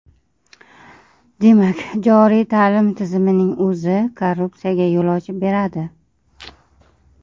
Demak, joriy ta’lim tizimining o‘zi korrupsiyaga yo‘l ochib beradi.